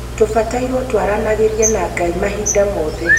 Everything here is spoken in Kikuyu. tũbatairwo twaranĩagĩrĩe na Ngai mahinda mothe